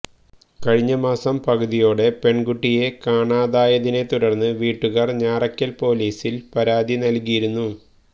കഴിഞ്ഞമാസം പകുതിയോടെ പെണ്കുട്ടിയെ കാണാതായതിനെ തുടര്ന്നു വീട്ടുകാര് ഞാറക്കല് പോലീസില് പരാതി നല്കിയിരുന്നു